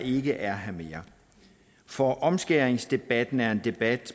ikke er her mere for omskæringsdebatten er en debat